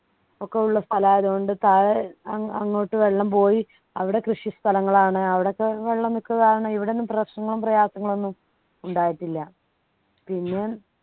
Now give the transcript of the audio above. ഒക്കെയുള്ള സ്ഥലം ആയതുകൊണ്ട് താഴെ അങ് അങ്ങോട്ട് വെള്ളം പോയി അവിടെ കൃഷിസ്ഥലങ്ങളാണ് അവിടെയൊക്കെ വെള്ളം നിൽക്കുന്നത് കാരണം ഇവിടെ എന്നും പ്രശ്നങ്ങളും പ്രയാസങ്ങളും ഒന്നും ഉണ്ടായിട്ടില്ല പിന്നെ